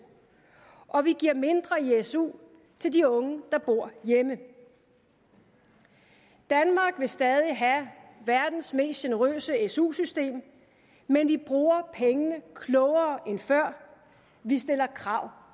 og vi giver mindre i su til de unge der bor hjemme danmark vil stadig have verdens mest generøse su system men vi bruger pengene klogere end før vi stiller krav